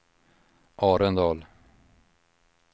Arendal